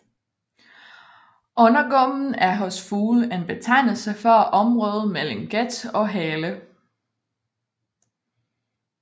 Undergumpen er hos fugle en betegnelse for området mellem gat og hale